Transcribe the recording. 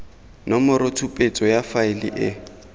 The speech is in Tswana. nomoro tshupetso ya faele e